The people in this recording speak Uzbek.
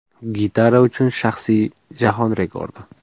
Gitara uchun yangi jahon rekordi.